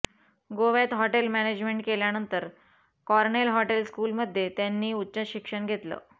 गोव्यात hotel management केल्यानंतर Cornell hotel स्कूलमध्ये त्यांनी उच्च शिक्षण घेतलं